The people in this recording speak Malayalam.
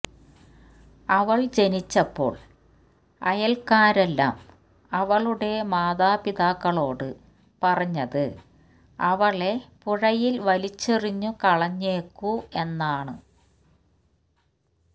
അവള് ജനിച്ചപ്പോള് അയല്ക്കാരെല്ലാം അവളുടെ മാതാപിതാക്കളോട് പറഞ്ഞത് അവളെ പുഴയില് വലിച്ചെറിഞ്ഞു കളഞ്ഞേക്കൂ എന്നാണ്